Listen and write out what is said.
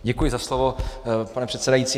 Děkuji za slovo, pane předsedající.